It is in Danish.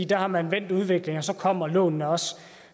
der har man vendt udviklingen og så kommer lånene også